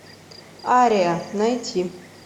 ария найти